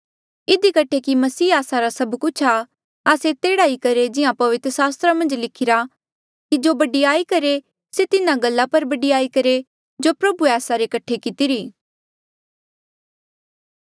इधी कठे कि मसीह आस्सा रा सब कुछ आ आस्से तेह्ड़ा ही करहे जिहां पवित्र सास्त्रा मन्झ लिखिरा कि जो बडयाई करहे से तिन्हा गल्ला पर बडयाई करहे जो प्रभुए आस्सा रे कठे कितिरी